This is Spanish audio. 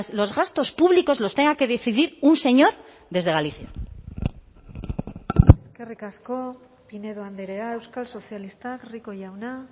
los gastos públicos los tenga que decidir un señor desde galicia eskerrik asko pinedo andrea euskal sozialistak rico jauna